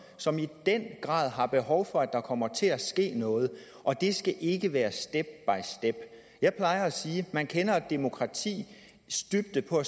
som i den grad har behov for at der kommer til at ske noget og det skal ikke være step jeg plejer at sige at man kender et demokratis dybde på